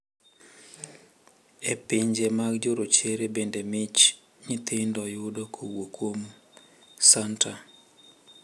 E pinje mag jorochere bende mich nyithindo yudo kowuok kuom santa.